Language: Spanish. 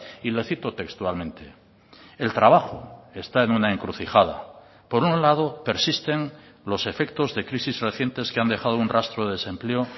y le cito textualmente el trabajo está en una encrucijada por un lado persisten los efectos de crisis recientes que han dejado un rastro de desempleo